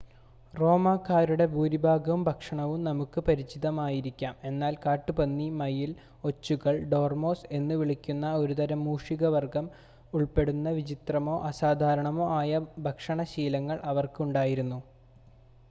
റോമാക്കാരുടെ ഭൂരിഭാഗം ഭക്ഷണവും നമുക്ക് പരിചിതമായിരിക്കാം എന്നാൽ കാട്ടുപന്നി മയിൽ ഒച്ചുകൾ ഡോർമോസ് എന്നുവിളിക്കുന്ന ഒരുതരം മൂഷികവർഗം ഉൾപ്പെടുന്ന വിചിത്രമോ അസാധാരണമോ ആയ ഭക്ഷണ ശീലങ്ങൾ അവർക്ക് ഉണ്ടായിരുന്നു